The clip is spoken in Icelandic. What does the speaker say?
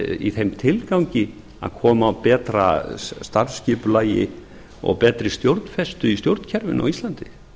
í þeim tilgangi að koma á betra starfsskipulagi og betri stjórnfestu í stjórnkerfinu á íslandi